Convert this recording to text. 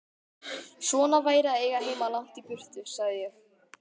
Svona væri að eiga heima langt í burtu, sagði ég.